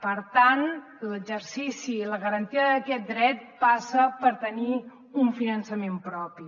per tant l’exercici i la garantia d’aquest dret passa per tenir un finançament propi